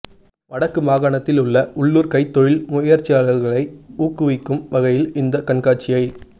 வடக்கு மாகாணத்தில் உள்ள உள்ளூர் கைத் தொழில் முயற்சியாளர்களை ஊக்குவிக்கும் வகையில் இந்த கண்காட்சியை